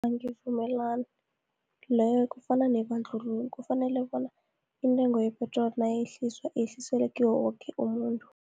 Angivumelani, leyo kufana nebandlululo, kufanele bona intengo yepetroli nayehliswa, yehliselwe kiwo woke umuntu.